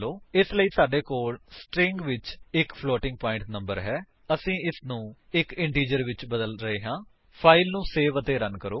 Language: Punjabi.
ਇਸ ਲਈ ਸਾਡੇ ਕੋਲ ਸਟਰਿੰਗ ਵਿੱਚ ਇੱਕ ਫਲੋਟਿੰਗ ਪਾਇੰਟ ਨੰਬਰ ਹੈ ਅਤੇ ਅਸੀ ਇਸਨੂੰ ਇੱਕ ਇੰਟੀਜਰ ਵਿੱਚ ਬਦਲ ਰਹੇ ਹਾਂ ਫਾਇਲ ਨੂੰ ਸੇਵ ਅਤੇ ਰਨ ਕਰੋ